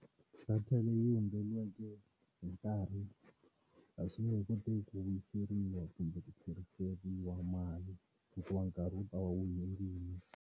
Data leyi hundzeriweke hi nkarhi a swi nge koteki ku vuyiseriwa kumbe ku tlheriseriwa mali hikuva nkarhi wu ta va wu hundzile.